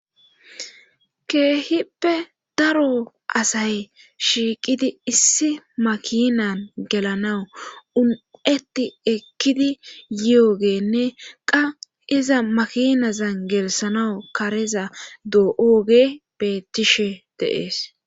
keehippe daro asay shiiqidi issi makinan gelanawu un7etti ekkidi yiogeenne qa iza makinazan gelisanawu kareza do7oge bettishe deees